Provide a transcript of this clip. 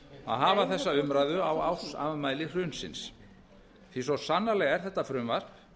að hafa þessa umræðu á ársafmæli hrunsins því svo sannarlega er þetta frumvarp